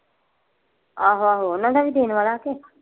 ਆਹੋ ਆਹੋ ਓਹਨਾਂ ਦਾ ਵੀ ਦੇਣ ਵਾਲਾ ਕੇ।